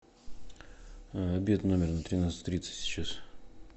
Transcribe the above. обед в номер на тринадцать тридцать сейчас